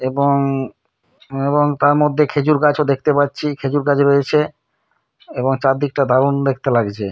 এবং-- এবং তার মধ্যে খেজুর গাছও দেখতে পাচ্ছি খেজুর গাছ রয়েছে এবং চার দিকটা দারুণ দেখতে লাগছে।